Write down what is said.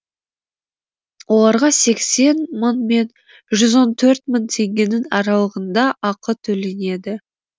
оларға сексен мың мен жүз он төрт мың теңгенің аралығында ақы төленеді